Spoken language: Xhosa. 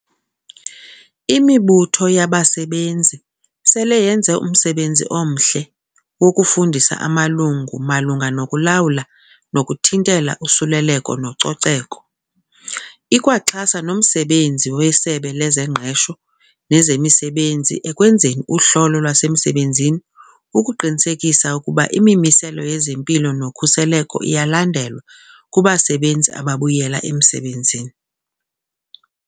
Imibutho yabasebenzi sele yenze umsebenzi omhle wokufundisa amalungu malunga nokulawula nokuthintela usuleleko nococeko. Ikwaxhasa nomsebenzi weSebe lezeNgqesho nezeMisebenzi ekwenzeni uhlolo lwasemsebenzini ukuqinisekisa ukuba imimiselo yezempilo nokhuseleko iyalandelwa kubasebenzi ababuyela emsebenzini.